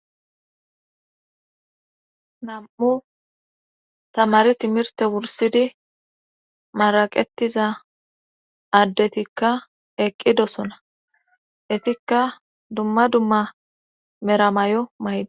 Nam'u tamari timirte wursidi maraqettiza addetikka eqqidosona itikka dumma dumma meramay'o may'di.